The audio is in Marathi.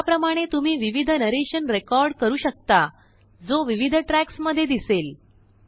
त्याप्रमाणे तुम्ही विविध नरेशन रेकॉर्ड करू शकताजो विविधट्रैक्स मध्ये दिसेल